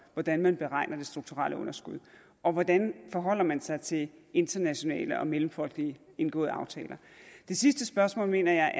hvordan man beregner det strukturelle underskud og hvordan forholder man sig til internationalt og mellemfolkeligt indgåede aftaler det sidste spørgsmål mener jeg